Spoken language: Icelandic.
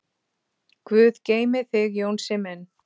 Guð geymi þig Jónsi minn.